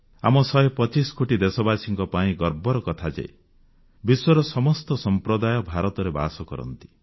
ଆମ 125 କୋଟି ଦେଶବାସୀଙ୍କ ପାଇଁ ଗର୍ବର କଥା ଯେ ବିଶ୍ୱର ସମସ୍ତ ସମ୍ପ୍ରଦାୟ ଭାରତରେ ବାସ କରନ୍ତି